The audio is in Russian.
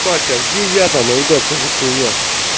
батя а где я там ребят что за хуйня